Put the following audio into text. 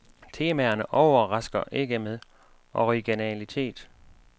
Temaerne overrasker ikke med originalitet.